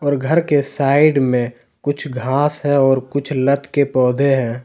और घर के साइड में कुछ घास है और कुछ लत के पौधे है।